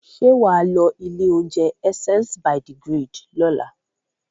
Ṣé wà á lọ ilé-oúnjẹ Essence by the Grid lọ́la?